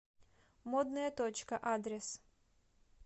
модная точка адрес